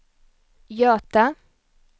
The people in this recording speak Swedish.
Göta